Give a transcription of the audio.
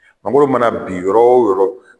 Mangoro mana bin yɔrɔ o yɔrɔ